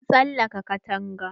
Mun tsalaka katanga.